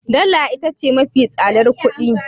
Dala ita ce mafi tsadar kuɗi